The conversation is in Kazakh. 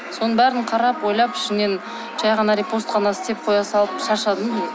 соның барлығын қарап ойлап ішімнен жай ғана репост қана істеп қоя салып шаршадым